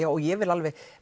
og ég vil